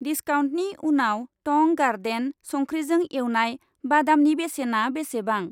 दिस्काउन्टनि उनाव टं गार्डेन संख्रिजों एवनाय बादामनि बेसेना बेसेबां?